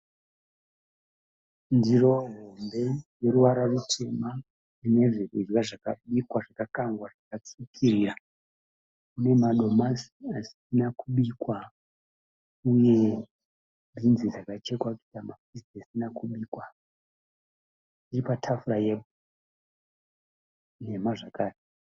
Ndiro hombe yeruvara rutema ine zvokudya zvakabikwa zvakakangwa zvakatsvukirira. Ine madomasi asina kubikwa uye bhinzi dzakachekwa kuita mapisi asina kubikwa. Iri patafura nhema zvakare.